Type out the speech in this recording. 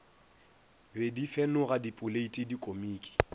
be di fenoga dipoleiti dikomiki